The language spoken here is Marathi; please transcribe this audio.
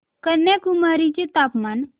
कन्याकुमारी चे तापमान